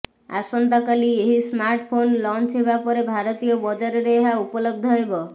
ଆସନ୍ତାକାଲି ଏହି smartphone launch ହେବା ପରେ ଭାରତୀୟ ବଜାରରେ ଏହା ଉପଲବ୍ଧ ହେବ